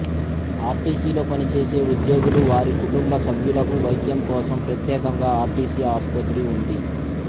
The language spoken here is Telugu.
ఆర్టీసీలో పనిచేసే ఉద్యోగులు వారి కుటుంబ సభ్యులకు వైద్యం కోసం ప్రత్యేకంగా ఆర్టీసీ ఆసుపత్రి ఉంది